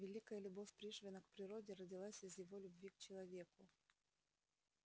великая любовь пришвина к природе родилась из его любви к человеку